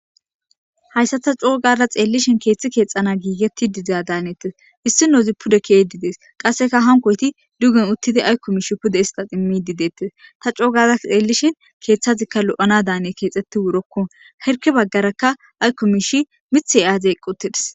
hayssa ta coo gada xeellishen keeththi keexxana giigetti dida daanettes issi noozi pudekee didees qasseka hankoyti dugen uttidi aykko miish pude hisqa immi dideettis ta coogada xeellishe keeththazikka lo7ana daaniye keexxetti wurokko herke baggarakka aykko miishi mithey aaze qquttidis